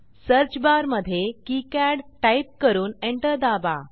search बारमधे किकाड type करून एंटर दाबा